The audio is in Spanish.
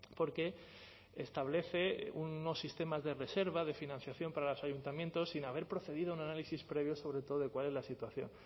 porque establece unos sistemas de reserva de financiación para los ayuntamientos sin haber procedido a un análisis previo sobre todo de cuál es la situación